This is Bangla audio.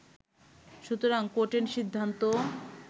সুতরাং কোর্টের সিদ্ধান্ত